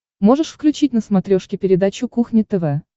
можешь включить на смотрешке передачу кухня тв